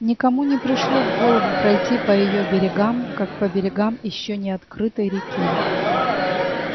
никому не пришло в голову пройти по её берегам как по берегам ещё не открытой реки